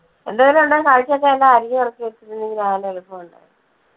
എന്തേലും ഉണ്ടേ കറിക്കൊക്കെ ഒന്ന് അരിഞ്ഞ് പെറുക്കി എടുത്ത് വെച്ചിട്ടുണ്ടെങ്കി രാവിലെ എളുപ്പം ഉണ്ട്.